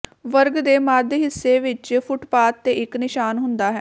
ਵਰਗ ਦੇ ਮੱਧ ਹਿੱਸੇ ਵਿੱਚ ਫੁੱਟਪਾਥ ਤੇ ਇੱਕ ਨਿਸ਼ਾਨ ਹੁੰਦਾ ਹੈ